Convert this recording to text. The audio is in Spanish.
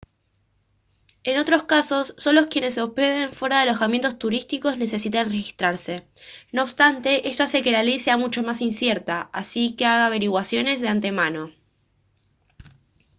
en otros casos solo quienes se hospeden fuera de alojamientos turísticos necesitan registrarse no obstante esto hace que la ley sea mucho más incierta así que haga averiguaciones de antemano